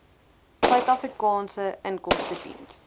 suid afrikaanse inkomstediens